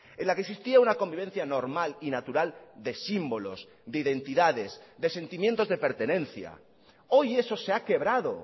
en la que existía una convivencia normal y natural de símbolos de identidades de sentimientos de pertenencia hoy eso se ha quebrado